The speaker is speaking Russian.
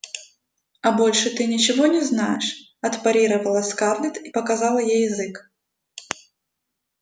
а больше ты ничего не знаешь отпарировала скарлетт и показала ей язык